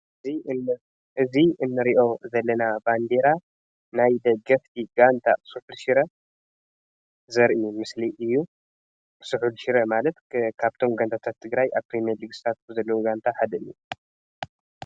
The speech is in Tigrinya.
እዚ እንርኦ ዘለና ባንደራ ናይ ደገፍቲ ጋንታ ሱሑል ሽረ ዘርኢ ምስሊ እዩ ፤ሱሑል ሽረ ማለት ካብቶም ጋንታታት ትግራይ ኣብ ፕሬምልግ ዝሳተፍ ዘሎ ጋንታ ሓደ እዩ።